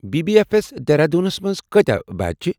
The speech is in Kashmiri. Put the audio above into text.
بی بی اٮ۪ف اٮ۪س دیہرادوٗنس منٛز کٲتیاہ بیج چھِ؟